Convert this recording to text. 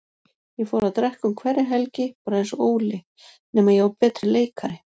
Ég fór að drekka um hverja helgi, bara einsog Óli, nema ég var betri leikari.